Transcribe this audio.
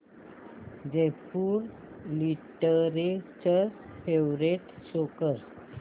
Jaipur literature festival show कर